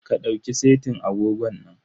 Ka ɗauki setin agogon nan.